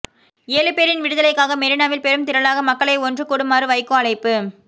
ஏழு பேரின் விடுதலைக்காக மெரீனாவில் பெரும் திரளாக மக்களை ஒன்று கூடுமாறு வைகோ அழைப்பு